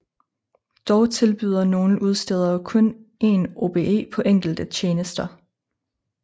Dog tilbyder nogle udstedere kun en OBE på enkelte tjenester